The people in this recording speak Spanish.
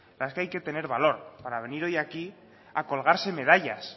hay que tener valor para venir hoy aquí a colgarse medallas